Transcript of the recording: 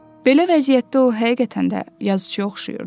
Belə vəziyyətdə o həqiqətən də yazıçıya oxşayırdı.